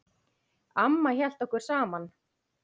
Amma hélt okkur saman.